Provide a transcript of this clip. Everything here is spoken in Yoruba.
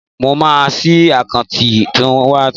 Mo maa sí àkáùntì túwítà